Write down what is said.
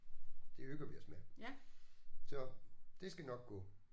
Det hygger vi os med så det skal nok gå